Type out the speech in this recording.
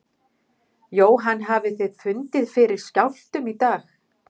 Jóhann hafið þið fundið fyrir skjálftum í dag?